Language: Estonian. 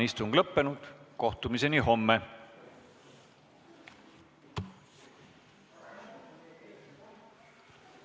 Istungi lõpp kell 18.24.